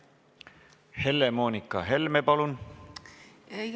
Helle-Moonika Helme, palun!